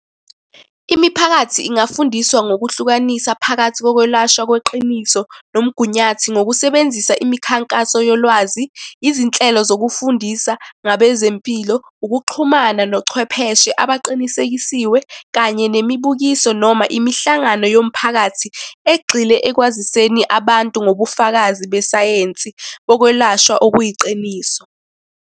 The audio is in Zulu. Imiphakathi ingafundiswa ngokuhlukanisa phakathi kokwelashwa kweqiniso nomgunyathi, ngokusebenzisa imikhankaso yolwazi, izinhlelo zokufundisa ngabezempilo, ukuxhumana nochwepheshe abaqinisekisiwe, kanye nemibukiso noma imihlangano yomphakathi egxile ekwaziseni abantu ngobufakazi besayensi bokwelashwa okuyiqiniso.